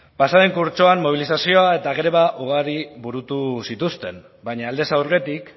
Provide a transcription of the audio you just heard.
pasa den kurtsoan mobilizazio eta greba ugari burutu zituzten baina aldez aurretik